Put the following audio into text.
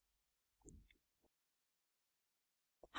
ls